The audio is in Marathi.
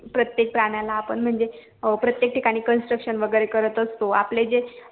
प्रेतेक प्राण्याला आपण म्हणजे अं प्रेतेक ठिकाणी construction वैगेरे करत असतो आपले जे